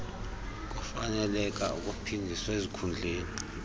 kufaneleka ukuphindiswa ezikhundleni